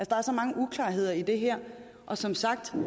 der er så mange uklarheder i det her og som sagt tror